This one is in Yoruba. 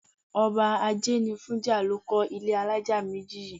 Ọba Ajénifújà ló kọ́ ilé alájà méjì yìí.